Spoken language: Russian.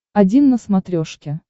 один на смотрешке